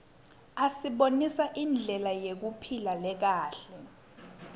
asibonisa indlela yekuphila lekahle